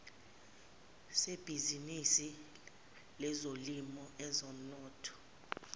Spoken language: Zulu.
sebhizinisi lezolimo ezomnotho